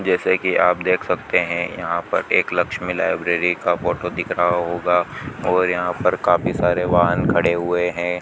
जैसे कि आप देख सकते है यहां पर एक लक्ष्मी लाइब्रेरी का फोटो दिख रहा होगा और यहां पर काफी सारे वाहन खड़े हुए हैं।